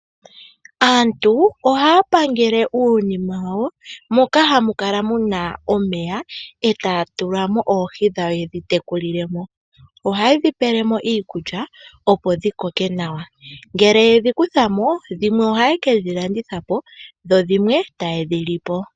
Aantu ohaya pangele uunima wawo moka hamukala muna omeya etaya tula oohi yedhi tekulile mo. Ohayedhi tulile mo iikulya opo dhi koke nawa. Ngele yedhi kutha mo dhimwe ohaye ke dhi landitha dho dhimwe taye dhi lipo.